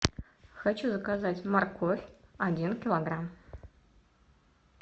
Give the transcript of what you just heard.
хочу заказать морковь один килограмм